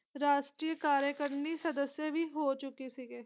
ਰਾਸ਼ਟਰੀਯ ਕਾਰੇ ਕਰਨੀ ਸਦੱਸਿਆਂ ਵੀ ਹੋ ਚੁਕੇ ਸੀਗੇ।